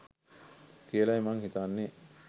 කියලයි මං හිතන්නේ